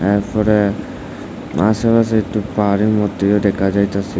এরফরে আশেপাশে একটু পাহাড়ের মধ্যেও দেখা যাইতেসে।